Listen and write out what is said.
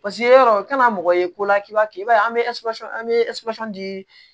paseke yɔrɔ kana mɔgɔ ye ko k'i b'a kɛ i b'a ye an bɛ an be di